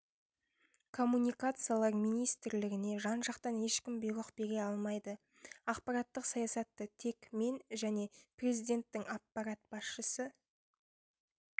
коммуникациялар министрлігіне жан-жақтан ешкім бұйрық бере алмайды ақпараттық саясатты тек мен және президенттің аппарат басшысы